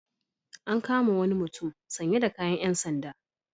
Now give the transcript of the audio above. An kama wani mutum sanye da kayan ƴan sanda.